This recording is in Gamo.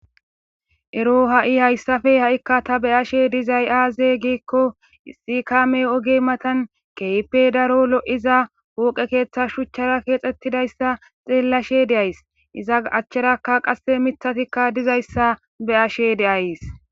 Ero ha'i hayssafe ha'ikka ta be ashe dizay aaze giikko issi kaame oge matan keype daro lo'iza wooqe keeththa shuchchara keexxettidayssa xeellashe de'ays iza achcherakka qasse mithatikka dizayssa be ashe deays.